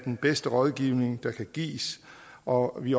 den bedste rådgivning der kan gives og vi